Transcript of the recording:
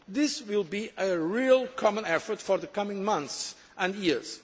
large. This will be a real common effort for the coming months and